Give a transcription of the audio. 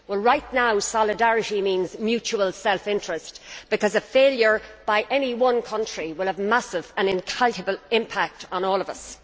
Right now, solidarity means mutual self interest, because a failure by any one country will have a massive and incalculable impact on all of us.